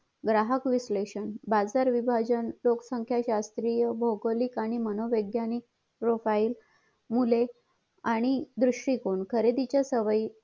ग्राहक विश्लेषण बाजार विभाजन लोक संख्या शास्त्रीय भोवगौलिक आणि मनोव्यज्ञानिक पप्रोफाइल मुले आणि दुर्ष्टीकोन खरेदीचे सवयी